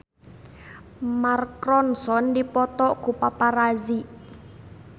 Mark Ronson dipoto ku paparazi